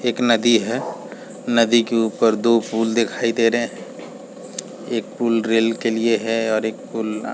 एक नदी है नदी के ऊपर दो पुल दिखाई दे रहे हैं एक पुल रेल के लिए है और एक पुल आ --